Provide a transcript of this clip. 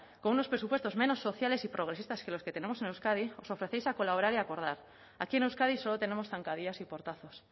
con unos presupuestos menos sociales y progresistas que los que tenemos en euskadi os ofrecéis a colaborar y a acordar aquí en euskadi solo tenemos zancadillas y portazos